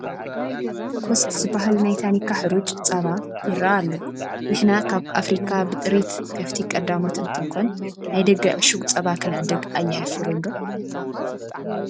ኮስት ዝበሃል ናይ ታኒካ ሕሩጭ ፃባ ይርአ ኣሎ፡፡ ንሕና ካብ ኣፍሪካ ብጥሪት ከፍቲ ቀዳሞት እንትንኮን ናይ ደገ ዕሹግ ፃባ ክንዕድግ ኣየሕፍርን ዶ?